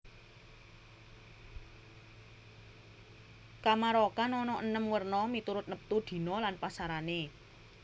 Kamarokan ana enem werna miturut neptu dina lan pasarané